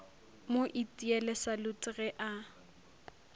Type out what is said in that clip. mo itiele salute ge a